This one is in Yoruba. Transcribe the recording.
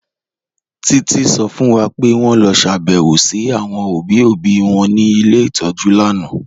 Títí sọ fún wà pé wọn lọ ṣàbẹ̀wọ̀ sí àwọn obì obì wọn ní ilẹ̀ itọ́jú lànà